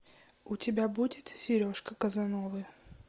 у тебя будет сережка казановы